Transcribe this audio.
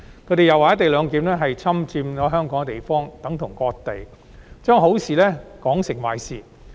他們又說"一地兩檢"是侵佔香港的地方，等同割地，把好事說成壞事。